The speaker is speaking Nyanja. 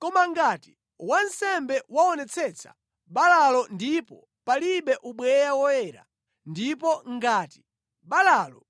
Koma ngati wansembe waonetsetsa balalo ndipo palibe ubweya woyera, ndipo ngati balalo